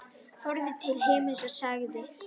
Horfði til himins og sagði: